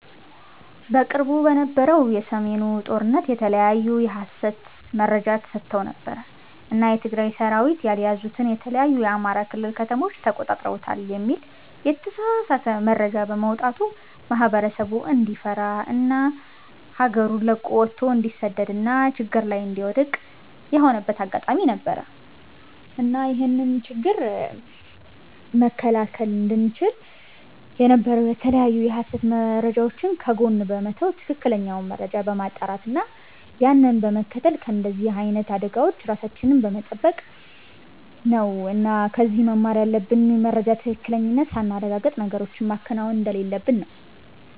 በቅርቡ በነበረው የ ሰሜኑ ጦርነት የተለያዩ የ ሀሰት መረጃ ተሰራጭተው ነበር እና የ ትግራይ ሰራዊት ያልያዙትን የተለያዩ የ አማራ ክልል ከተሞችን ተቆጣጥረውታል የሚል የተሳሳተ መረጃ በመውጣቱ ማህበረሰቡ እንዲፈራ እና ሀገሩን ለቆ ወቶ እንዲሰደድ እና ችግር ላይ እንዲወድክቅ የሆነበት አጋጣሚ ነበር። እና ይህንን ችግር መከላከል እንቺል የነበረው የተለያዩ የሀሰት መረጃወችን ከጎን በመተው ትክክለኛውን መረጃ በማጣራት እና ያንን በመከተል ከንደዚህ አይነት አደጋወች ራሳችንን በመተበቅ ነው እና ከዚህ መማር ያለብን የመረጃን ትክክለኝነት ሳናረጋግጥ ነገሮችን ማከናወን እንደሌለብን ነው